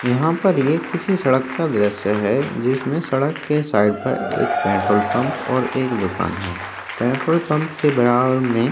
यहाँ पर ये किसी सड़क का दृश्य है जिसमे सड़क के साइड पर एक पेट्रोल पंप और एक दुकान है पेट्रोल पंप के बराबर में --